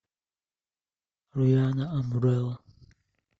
рианна амбрелла